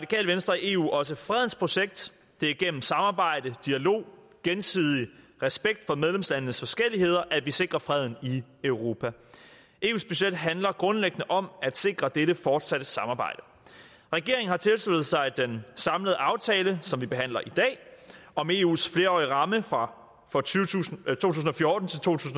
eu også fredens projekt det er gennem samarbejde dialog og gensidig respekt for medlemslandenes forskelligheder at vi sikrer freden i europa eus budget handler grundlæggende om at sikre dette fortsatte samarbejde regeringen har tilsluttet sig den samlede aftale som vi behandler i dag om eus flerårige ramme for for to tusind